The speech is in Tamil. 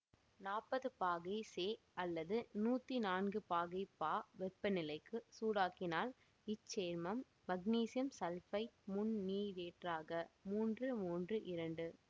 நாற்பது பாகை செ அல்லது நூற்றி நான்கு பாகை பா வெப்பநிலைக்கு சூடாக்கினால் இச்சேர்மம் மக்னீசியம் சல்பைட்முந்நீரேற்றாக மூன்று மூன்று இரண்டு